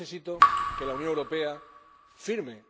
¿para qué necesito que la Unión Europea firme?